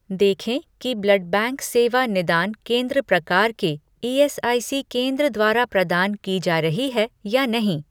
देखें कि blood bank सेवा निदान केंद्र प्रकार के ईएसआईसी केंद्र द्वारा प्रदान की जा रही है या नहीं